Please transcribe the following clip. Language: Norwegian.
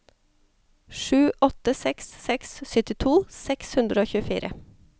sju åtte seks seks syttito seks hundre og tjuefire